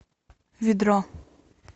ведро